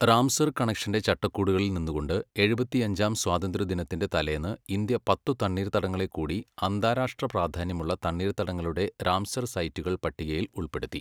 Ramsar കണക്ഷൻ്റെ ചട്ടക്കൂടുകളിൽ നിന്നുകൊണ്ട് എഴുപത്തിയഞ്ചാം സ്വാതന്ത്ര്യദിനത്തിൻ്റെ തലേന്ന് ഇന്ത്യ പത്തു തണ്ണീർത്തടങ്ങളെക്കൂടി അന്താരാഷ്ട്ര പ്രാധാന്യമുള്ള തണ്ണീർത്തടങ്ങളുടെ റാംസർ സൈറ്റുകൾ പട്ടികയിൽ ഉൾപ്പെടുത്തി.